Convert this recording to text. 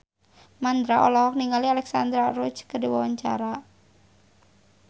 Mandra olohok ningali Alexandra Roach keur diwawancara